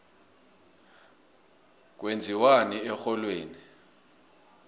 kwenziwani erholweni